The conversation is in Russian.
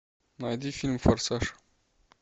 найди фильм форсаж